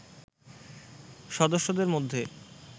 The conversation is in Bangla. সদস্যদের মধ্যে